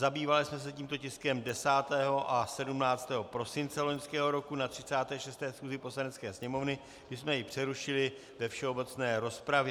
Zabývali jsme se tímto tiskem 10. a 17. prosince loňského roku na 36. schůzi Poslanecké sněmovny, kdy jsme ji přerušili ve všeobecné rozpravě.